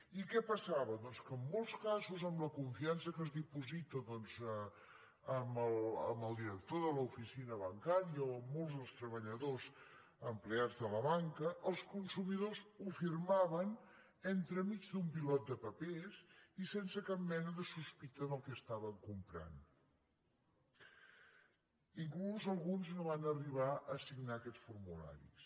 i què passava doncs que en molts casos amb la confiança que es diposita en el director de l’oficina bancària o en molts dels treballadors empleats de la banca els consumidors ho firmaven entremig d’un pilot de papers i sense cap mena de sospita del que estaven comprant inclús alguns no van arribar a signar aquests formularis